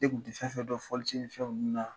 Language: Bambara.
Ne kun ti fɛn fɛn dɔn fɔlisi ni fɛnw ninnu na